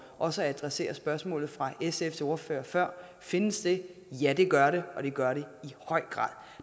også at adressere spørgsmålet fra sfs ordfører før findes det ja det gør det og det gør det i høj grad